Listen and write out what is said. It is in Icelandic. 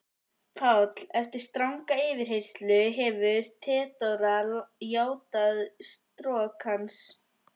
PÁLL: Eftir stranga yfirheyrslu hefur Theodóra játað strok hans.